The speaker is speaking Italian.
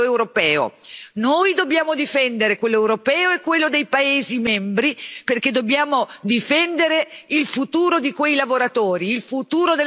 Noi dobbiamo difendere quello europeo e quello dei paesi membri, perché dobbiamo difendere il futuro di quei lavoratori, il futuro delle nostre imprese.